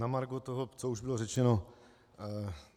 Na margo toho, co už bylo řečeno.